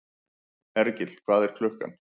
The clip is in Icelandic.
Hergill, hvað er klukkan?